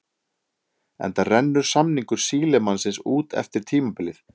Enda rennur samningur Sílemannsins út eftir tímabilið.